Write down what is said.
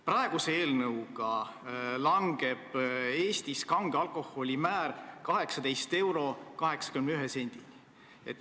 Praeguse eelnõu kohaselt langeb Eestis kange alkoholi aktsiisimäär 18 euro ja 81 sendini.